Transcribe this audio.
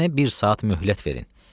Mənə bir saat möhlət verin.